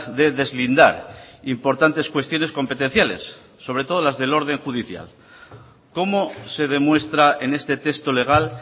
de deslindar importantes cuestiones competenciales sobre todo las del orden judicial cómo se demuestra en este texto legal